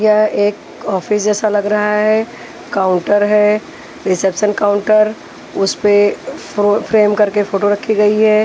यह एक ऑफिस जैसा लग रहा है काउंटर है रिसेप्शन काउंटर उस पे फ्रो फ्रेम करके फोटो रखी गई है।